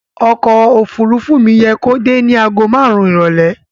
Ọkọ̀ òfuurufú mi yẹ kó dé ní àgó márùn-ún ìrọ̀lẹ́.